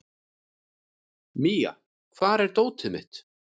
Mía, hvar er dótið mitt?